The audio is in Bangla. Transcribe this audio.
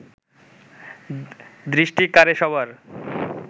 দৃষ্টি কাড়ে সবার